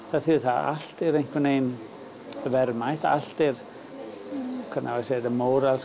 það þýðir það að allt er einhvern veginn verðmætt allt er móralskt